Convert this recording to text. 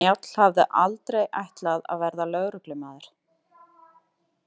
Njáll hafði aldrei ætlað að verða lögreglumaður.